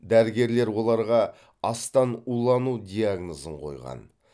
дәрігерлер оларға астан улану диагнозын қойған